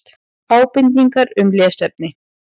Ábendingar um lesefni: